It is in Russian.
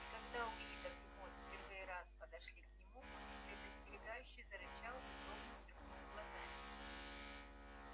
и когда уидогг и мод в первый раз подошли к нему он предостерегающе зарычал и злобно сверкнул глазами